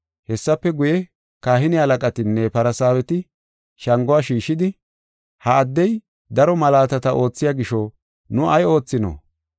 Hessafe guye, kahine halaqatinne Farsaaweti shanguwa shiishidi, “Ha addey daro malaatata oothiya gisho nu ay oothinoo?